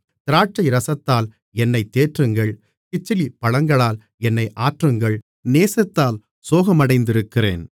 திராட்சைரசத்தால் என்னைத் தேற்றுங்கள் கிச்சிலிப்பழங்களால் என்னை ஆற்றுங்கள் நேசத்தால் சோகமடைந்திருக்கிறேன்